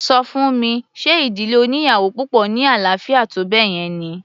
Ṣọ fún mi ṣe ìdílé oníyàwò púpọ̀ ní àlàáfíà tó báyẹn ni?